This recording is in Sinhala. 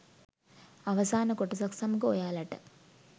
අවසාන කොටසත් සමඟ ඔයාලට